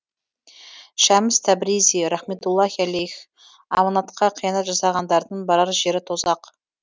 шәмс тәбризи рахметтуллахи алейх аманатқа қиянат жасағандардың барар жері тозақ